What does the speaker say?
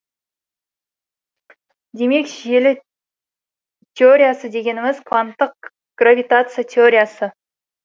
демек желі теориясы дегеніміз кванттық гравитация теориясы